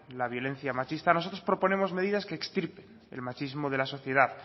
la violencia machista nosotros proponemos medidas que extirpen el machismo de la sociedad